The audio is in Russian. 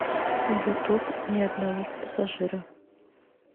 ютуб ни одного пассажира